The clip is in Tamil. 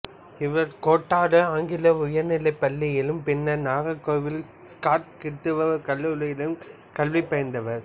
இவர் கோட்டாறு ஆங்கில உயர்நிலைப்பள்ளியிலும் பின்னர் நாகர்கோவில் ஸ்காட் கிறிஸ்துவக் கல்லூரியிலும் கல்வி பயின்றார்